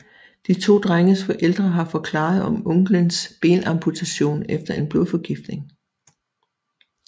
De to drenges forældre har forklaret om onklens benamputation efter en blodforgiftning